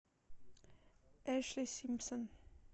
эшли симпсон